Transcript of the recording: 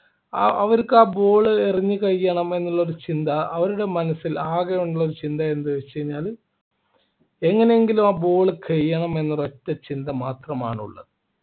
ആ അവർക്ക് ആ ball എറിഞ്ഞ് കഴിയണം എന്നുള്ള ഒരു ചിന്താ അവരുടെ മനസ്സിൽ ആകെയുള്ള ഒരു ചിന്ത എന്താണെന്ന് വെച്ചുകഴിഞ്ഞാൽ എങ്ങനെയെങ്കിലും ആ ball കഴിയണം എന്നൊരു ഒറ്റ ചിന്തമാത്രമാണ് ഉള്ളത്